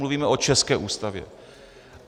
Mluvíme o české Ústavě.